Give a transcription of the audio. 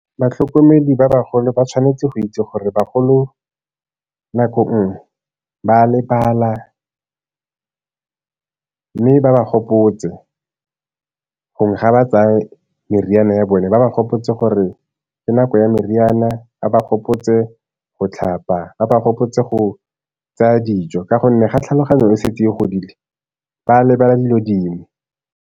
Batlhokomedi ba bagolo ba tshwanetse go itse gore bagolo nako nngwe ba lebala, mme ba ba gopotse, gongwe ga ba tsaya meriana ya bone ba ba gopotse gore ke nako ya meriana, ba ba gopotse go tlhapa, ba ba gopotse go tsaya dijo. Ka gonne ga tlhaloganyo e setse e godile ba lebala dilo dingwe.